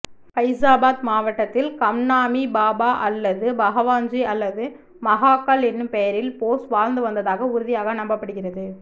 ஃபைஸாபாத் மாவட்டத்தில் கம்னாமி பாபா அல்லது பகவான்ஜி அல்லது மஹாகல் எனும் பெயரில் போஸ் வாழ்ந்து வந்ததாக உறுதியாக நம்பப்படுகிறது